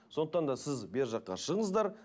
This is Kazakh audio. сондықтан да сіз бергі жаққа шығыңыздар